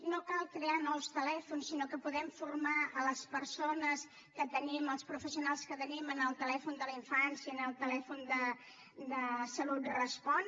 no cal crear nous telèfons sinó que podem formar les persones que tenim els professionals que tenim en el telèfon de la infància en el telèfon de salut respon